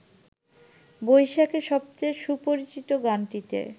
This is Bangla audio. বৈশাখের সবচেয়ে সুপরিচিত গানটিতে